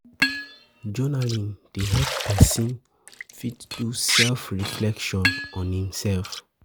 Journaling dey help person fit do self reflection on im self